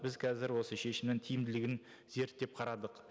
біз қазір осы шешімнің тиімділігін зерттеп қарадық